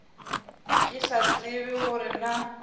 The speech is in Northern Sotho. ke sa tsebe gore na